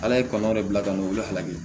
Ala ye kɔn de bila ka ne weele ala ye